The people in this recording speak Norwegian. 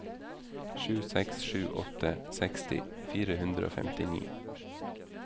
sju seks sju åtte seksti fire hundre og femtini